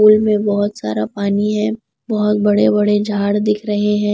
Pool में बहुत सारा पानी है बहुत बड़े बड़े झाड़ दिख रहे हैं।